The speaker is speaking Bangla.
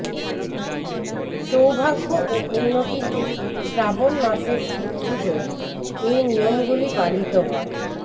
সৌভাগ্য ও উন্নতিতে শ্রাবণ মাসের শিবপূজায় এই নিয়মগুলি পালিত হয়